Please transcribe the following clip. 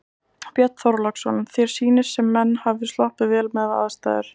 Björn Þorláksson: Þér sýnist sem menn hafi sloppið vel miðað við aðstæður?